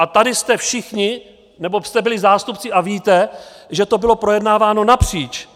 A tady jsme všichni, nebo jste byli, zástupci a víte, že to bylo projednáváno napříč.